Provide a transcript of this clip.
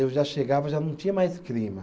Eu já chegava, já não tinha mais clima.